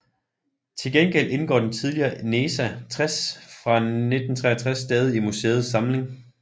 Til gengæld indgår den tidligere NESA 60 fra 1963 stadig i museets samling